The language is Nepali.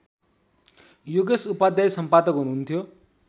योगेश उपाध्याय सम्पादक हुनुहुन्थ्यो